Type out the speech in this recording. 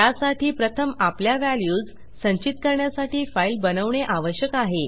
त्यासाठी प्रथम आपल्या व्हॅल्यूज संचित करण्यासाठी फाईल बनवणे आवश्यक आहे